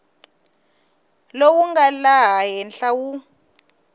lowu nga laha henhla wu